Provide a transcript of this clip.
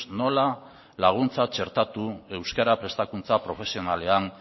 nola laguntza txertatu euskara prestakuntza profesionalean